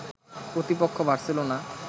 প্রতিপক্ষ বার্সেলোনা